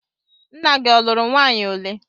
Nna gị ọ lụrụ nwaanyị ole?